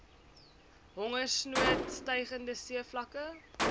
hongersnood stygende seevlakke